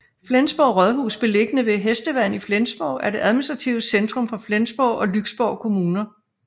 Flensborg Rådhus beliggende ved Hestevand i Flensborg er det administrative centrum for Flensborg og Lyksborg Kommuner